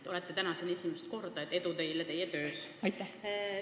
Te olete täna siin esimest korda, edu teile teie töös!